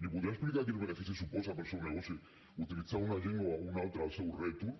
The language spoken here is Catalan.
els podrà explicar quin benefici suposa per al seu negoci utilitzar una llengua o una altra al seu rètol